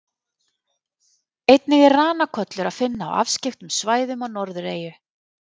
Einnig er ranakollur að finna á afskekktum svæðum á Norðureyju.